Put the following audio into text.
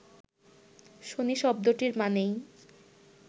শনি শব্দটির মানেই